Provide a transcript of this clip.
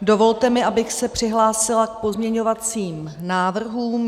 Dovolte mi, abych se přihlásila k pozměňovacím návrhům.